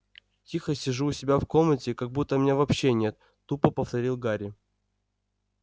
тихо сижу у себя в комнате как будто меня вообще нет тупо повторил гарри